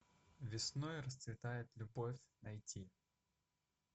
весной расцветает любовь найти